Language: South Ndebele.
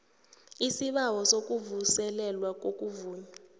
isibawo sokuvuselelwa kokuvunywa